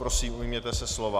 Prosím, ujměte se slova.